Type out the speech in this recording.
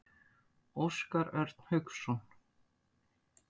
Óskar Örn Hauksson.